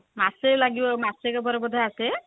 ମାସେ ଲାଗିବ ମାସକ ପରେ ବୋଧେ ଆସେ